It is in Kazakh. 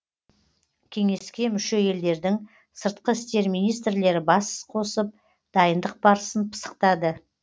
кеңеске мүше елдердің сыртқы істер министрлері бас қосып дайындық барысын пысықтады